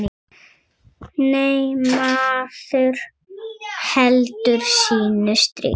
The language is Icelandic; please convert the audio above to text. Nei, maður heldur sínu striki.